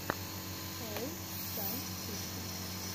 шоу сайн фикс